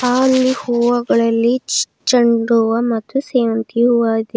ಅಲ್ಲಿ ಹೂವಗಳಲ್ಲಿ ಚೇಂಡು ಮತ್ತು ಸೇವಂತಿ ಹೂವ ಅದೆ.